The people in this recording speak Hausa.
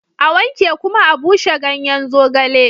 A wanke kuma a bushe ganyen zogale